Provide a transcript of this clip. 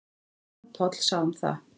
En Jón Páll sá um það.